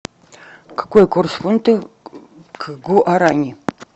какой курс фунта к гуарани